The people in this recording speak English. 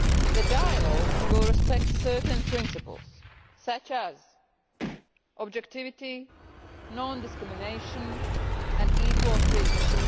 The dialogue will respect certain principles such as objectivity, non discrimination and equal treatment.